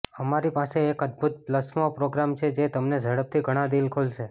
અમારી પાસે એક અદ્ભુત પ્લસમો પ્રોગ્રામ છે જે તમને ઝડપથી ઘણાં દિલ ખોલશે